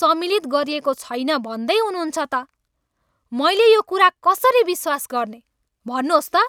सम्मिलित गरिएको छैन भन्दै हुनुहुन्छ त! मैले यो कुरा कसरी विश्वास गर्ने, भन्नुहोस् त!